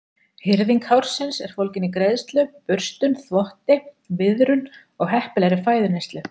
Hirðing hársins er fólgin í greiðslu, burstun, þvotti, viðrun og heppilegri fæðuneyslu.